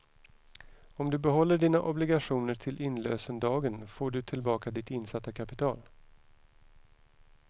Om du behåller dina obligationer till inlösendagen får du tillbaka ditt insatta kapital.